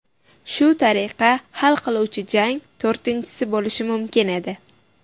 Shu tariqa hal qiluvchi jang to‘rtinchisi bo‘lishi mumkin edi.